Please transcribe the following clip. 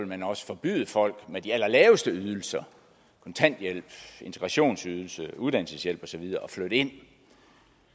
man også forbyde folk med de allerlaveste ydelser kontanthjælp integrationsydelse uddannelseshjælp og så videre at flytte ind